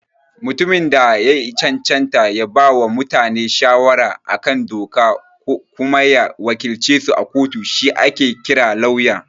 Mutumin da ya cancanta ya bawa mutane shawara a kan doka kuma ya wakilcesu a kotu shi ake kira Lauya.